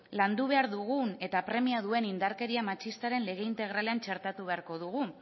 landu behar dugun eta premia duen indarkeria matxistaren lege integralean txertatu beharko dugu